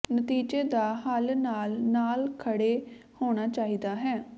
ਨਤੀਜੇ ਦਾ ਹੱਲ ਨਾਲ ਨਾਲ ਖੜ੍ਹੇ ਹੋਣਾ ਚਾਹੀਦਾ ਹੈ